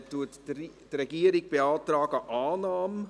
Die Regierung beantragt Annahme.